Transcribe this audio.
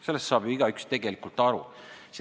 Sellest saab ju igaüks tegelikult aru.